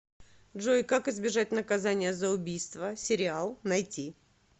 джой как избежать наказания за убийство сериал найти